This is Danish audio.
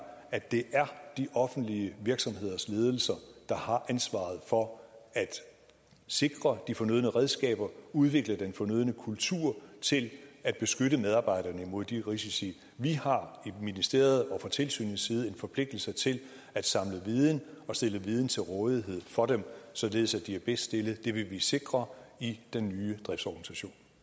at det er de offentlige virksomheders ledelser der har ansvaret for at sikre de fornødne redskaber og udvikle den fornødne kultur til at beskytte medarbejderne mod de risici vi har fra ministeriets og fra tilsynets side en forpligtelse til at samle viden og stille viden til rådighed for dem således at de er bedst stillet det vil vi sikre i den nye driftsorganisation